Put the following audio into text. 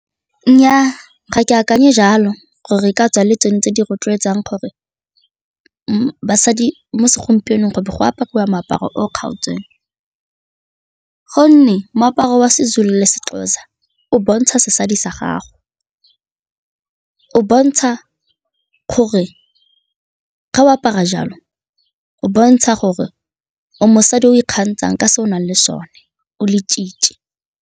Nnyaa, ga ke akanye jalo gore e ka tswa e le tsone tse di rotloetsang gore basadi mo segompienong go be go aparwa moaparo o kgaotseng gonne moaparo wa Sezulu le Sexhosa o bontsha setso sa gago, o bontsha gore ga o apara jalo, o bontsha gore o mosadi o ikgantshanh ka se o nang le sone o le-tshitshi.